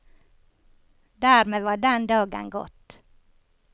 Dermed var den dagen gått.